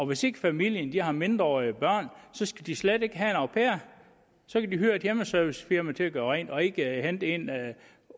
hvis ikke familien har mindreårige børn skal de slet ikke have en au pair så kan de hyre et hjemmeservicefirma til at gøre rent og ikke hente en